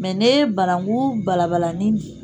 Mɛ ne ye bananankun balabala nin bi